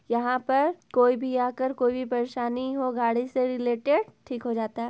यहाँ पर कोई भी आ कर कोई भी परेशानी हो गाड़ी से रिलेटेड ठीक हो जाता है।